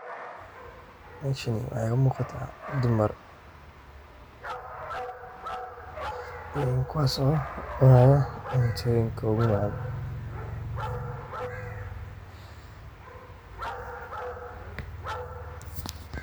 Meshani waxy umugata dumar kiwas oo cunayo cuntoyinka ogumacan.